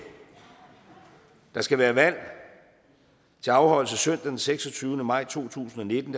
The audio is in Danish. der skal være valg til afholdelse søndag den seksogtyvende maj to tusind og nitten